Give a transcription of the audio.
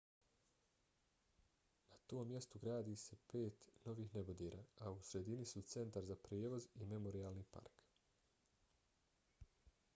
na tom mjestu se gradi pet novih nebodera a u sredini su centar za prijevoz i memorijalni park